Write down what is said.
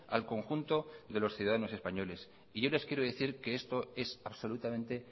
al conjunto de los ciudadanos españoles y yo les quiero decir que esto es absolutamente